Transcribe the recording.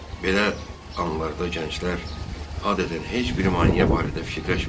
Belə anlarda gənclər adətən heç bir maneə barədə fikirləşmir.